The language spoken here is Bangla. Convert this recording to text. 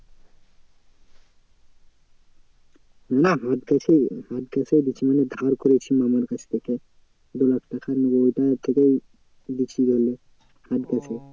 না হাত case হাত case এই দিচ্ছি মানে ধার করেছি মামার কাছ থেকে। দু লাখ টাকা নিয়ে ওটা থেকেই দিচ্ছি ধরেনে হাত case এ